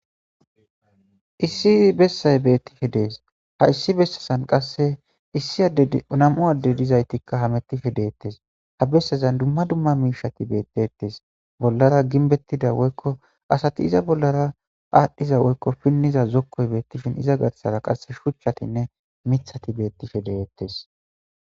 Issi bessay beettike dees ha issi bessesan qasse issi dnamu adde dizaytikka hamettife deettes ha bessezan dumma dumma miishati beettettes bollara ginbettida woykko asati iza bollara aadhdhiza woykko pinniza zokkoy beettishin iza garsara qasse shuchchatinne mithati beettife deettes.